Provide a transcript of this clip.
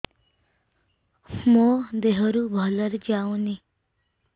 ମୋ ଦିହରୁ ଭଲରେ ଯାଉନି